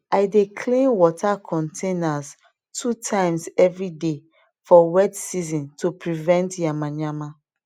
i dey clean water containers two times every day for wet season to prevent yamayama